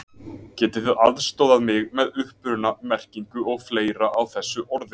Getið þið aðstoðað mig með uppruna, merkingu og fleira á þessu orði?